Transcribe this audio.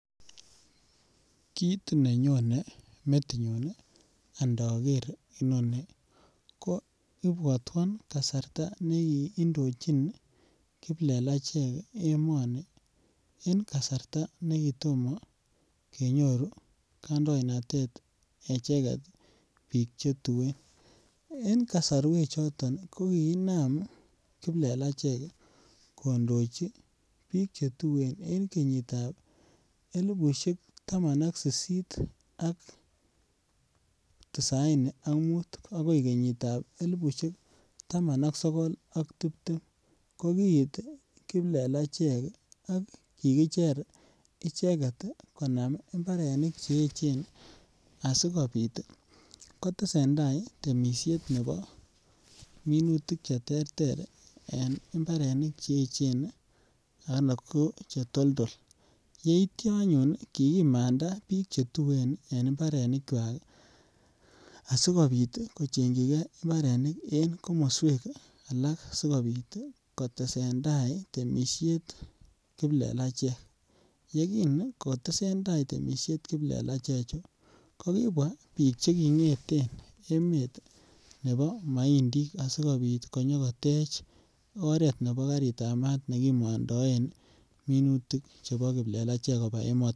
Kit nenyone metinyun andoger inoni ko ibwotwon kasarta nekindojin kiplelachek emoni en kasarta ne kitomo kenyor kandoinatet echeget biik che tuen en kosorwek choton ii ko kiinam kiplelachek kondoji biik che tuen en kenyitab elipushek taman ak sisit ak tisaini ak muut agoi kenyitab elipushek taman ak sogol ak tibtem ko kiit kiplelachek ak kikicher icheget ii konam mbarenik che echen asikopit ii kotesen tai temisiet nebo minutik che terter en mbarenik che echen anan ko che toldol. Yeityo anyun kikimanda biik che tuen en mbarenikwak asikopit kochengyigee mbarenik en komoswek alak sikopit kotesen tai temisiet kiplelachek, yegin kotesen tai temisiet kiplelachek chu ko kibwaa biik che kongeten emet nebo moindik asikopit konyo kotej oret nebo garitab maat nekimondoen minutik chebo kiplelachek kobaa emotin